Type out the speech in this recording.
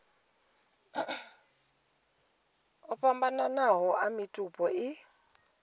o fhambananaho a mitupo i